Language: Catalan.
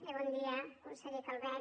bé bon dia conseller calvet